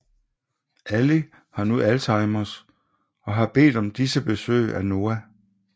Allie har nu alzheimers og har bedt om disse besøg af Noah